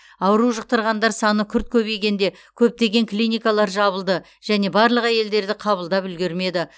ауру жұқтырғандар саны күрт көбейгенде көптеген клиникалар жабылды және барлық әйелдерді қабылдап үлгермеді